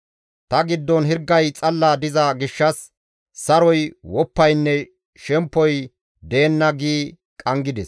Ta giddon hirgay xalla diza gishshas saroy, woppaynne shemppoy deenna» gi qanggides.